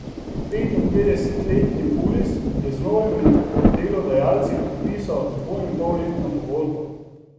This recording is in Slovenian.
Petinpetdesetletni Pulis je z novimi delodajalci podpisal dvoinpolletno pogodbo.